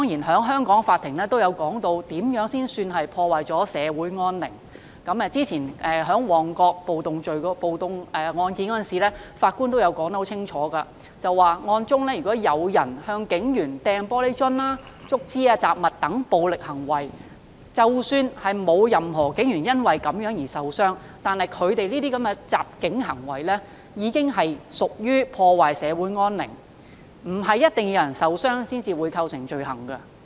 香港法庭亦曾解釋怎樣才算破壞社會安寧，正如2016年旺角暴動一案中，法官清楚指出，如有人向警員投擲玻璃樽、竹枝及雜物等暴力行為，即使沒有任何警員因而受傷，但這些襲警行為已屬破壞社會安寧，並非一定要有人受傷才構成罪行。